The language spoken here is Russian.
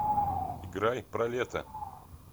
играй про лето